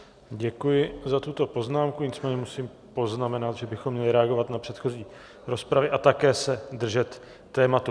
Děkuji za tuto poznámku, nicméně musím poznamenat, že bychom měli reagovat na předchozí rozpravy a také se držet tématu.